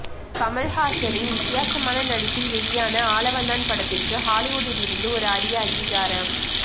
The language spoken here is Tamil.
கமல்ஹாசனின் வித்தியாசமான நடிப்பில் வெளியான ஆளவந்தான் படத்திற்கு ஹாலிவுட்டிலிருந்து ஒரு அரிய அங்கீகாரம்